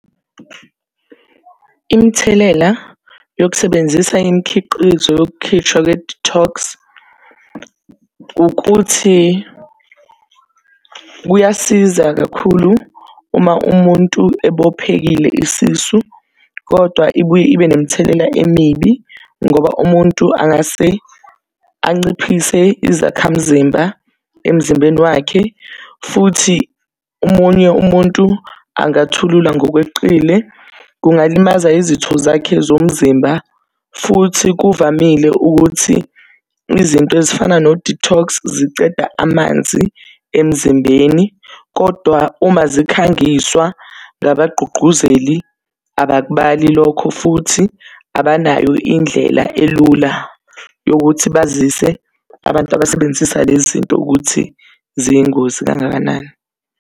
Imithelela yokusebenzisa imikhiqizo yokukhishwa kwe-detox, ukuthi kuyasiza kakhulu uma umuntu ebophekile isisu, kodwa ibuye ibe nemithelela emibi, ngoba umuntu angase anciphise izakhamzimba emzimbeni wakhe, futhi omunye umuntu angathulula ngokweqile, kungalimaza izitho zakhe zomzimba. Futhi kuvamile ukuthi izinto ezifana no-detox ziceda amanzi emzimbeni, kodwa uma zikhangiswa ngabagqugquzeli, abakubali lokho futhi, abanayo indlela elula yokuthi bazise abantu abasebenzisa lezi zinto ukuthi ziyingozi kangakanani.